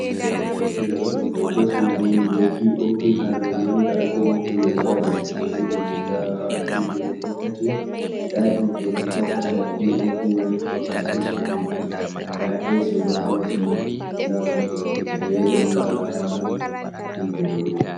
Nda hoto suduw on be popi hadoman nda piopi mai dowaɗj dezinin guda ɗiɗi na ko tati, nda hitejibo ha ndar pop mai do haski sudu mai nda’esi bo Hal es mai nɗa ɓo gwal hite ferani wala hitte dou mai.